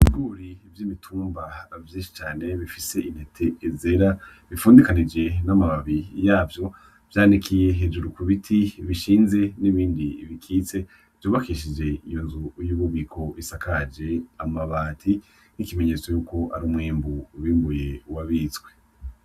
Ibigori vy'imitumba vyinshi cane bifise intete zera bifundikanije amababi yavyo vyanikiye hejuru ku biti bishinze n'ibindi bikitse vy'ubakishije inzu y'ububiko isakaje amabati ikimenyetso yuko ari umwimbu wimbuwe wabistwe.